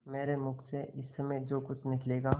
मेरे मुँह से इस समय जो कुछ निकलेगा